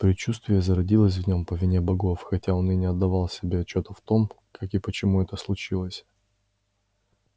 предчувствие зародилось в нём по вине богов хотя он и не отдавал себе отчёта в том как и почему это случилось